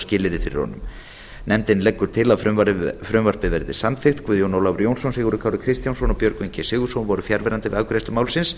skilyrði fyrir honum nefndin leggur til að frumvarpið verði samþykkt guðjón ólafur jónsson sigurður kári kristjánsson og björgvin g sigurðsson voru fjarverandi við afgreiðslu málsins